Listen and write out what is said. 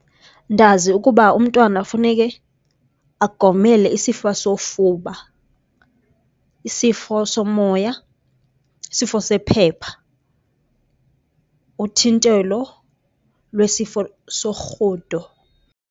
Ndazi ukuba umntwana funeke agomele isifo sofuba, isifo somoya, isifo sephepha, uthintelo lwesifo sorhudo.